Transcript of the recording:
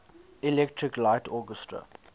electric light orchestra